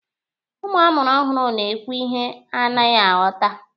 Ụmụ amụrụ ọhụrụ na-ekwu ihe a naghị aghọta.